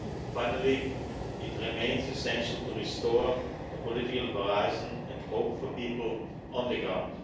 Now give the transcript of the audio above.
Finally, it remains essential to restore a political horizon and hope for people on the ground.